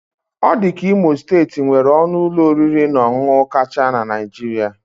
Ọ dị ka Imo steeti nwere ọnụ ụlọ oriri na ọṅụṅụ kacha na Naịjirịa.